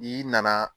N'i nana